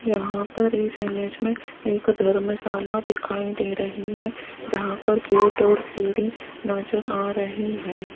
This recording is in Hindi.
यहां पर इस इमेज में एक धर्मशाला दिखाई दे रही है जहां पर गेट और सीढ़ी नजर आ रही है।